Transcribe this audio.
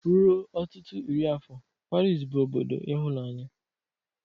Ruo ọtụtụ iri afọ, Pariz bụ obodo ịhụnanya.